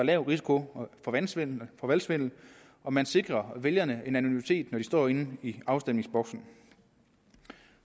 lav risiko for valgsvindel og valgsvindel og man sikrer vælgerne en anonymitet når de står inde i afstemningsboksen